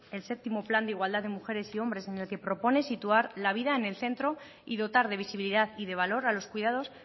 el séptimo plan de igualdad de mujeres y hombres en el que propone situar la vida en el centro y dotar de visibilidad y de valor a los cuidados